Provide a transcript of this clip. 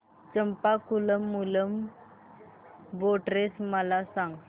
Champakulam Moolam boat race मला सांग